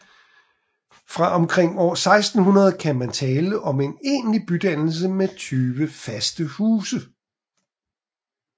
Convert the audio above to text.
Fra omkring år 1600 kan man tale om en egentlig bydannelse med 20 faste huse